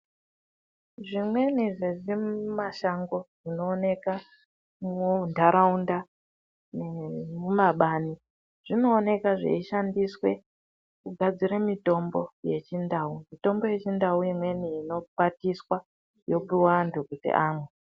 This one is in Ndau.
Zvimweni zvezvimashango zvinooneka muntaraunda nemumabani zvinooneka zveishandiswe kugadzire mutombo yechindau. Mitombo yechindau imweni inokwatiswa yopuva vantu kuti amwe.